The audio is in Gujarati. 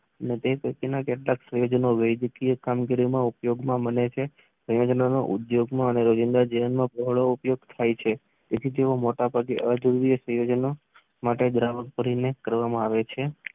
માટે ઘટક વૈગિકીય કામગીરીમાં ઉપયોગમાં મનાય છે. ઉપયોગમાં પ્રવાહ થાય છે. એથી તેવો મોટા પગે એસીડીક સંયોજનો માટે ગ્રાહક કરીને કરવામાં આવે છે.